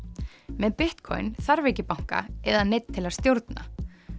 með Bitcoin þarf ekki banka eða neinn til að stjórna